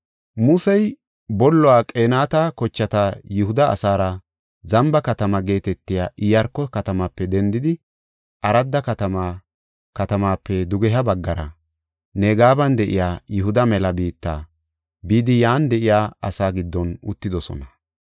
Musey bolluwa Qenaati kochati Yihuda asaara Zamba Katama geetetiya Iyaarko katamaape dendidi Arada katamaape dugeha baggara, Negeban de7iya Yihuda mela biitta bidi yan de7iya asaa giddon uttidosona.